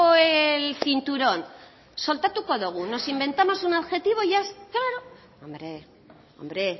el cinturón soltatuko dugu nos inventamos un objetivo y ya está hombre